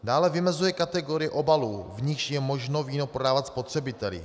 Dále vymezuje kategorii obalů, v níž je možno víno prodávat spotřebiteli.